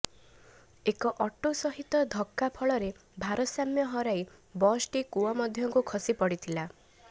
ଏକ ଅଟୋ ସହିତ ଧକ୍କା ଫଳରେ ଭାରସାମ୍ୟ ହରାଇ ବସ୍ଟି କୂଅ ମଧ୍ୟକୁ ଖସି ପଡିଥିଲା